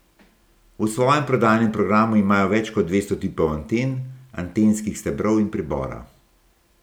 V svojem prodajnem programu imajo več kot dvesto tipov anten, antenskih stebrov in pribora.